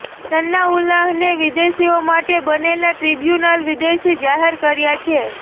સનાઉલ્લાહને વિદેશીઓ માટે બનેલા ટ્રિબ્યુનલે વિદેશી જાહેર કર્યા છે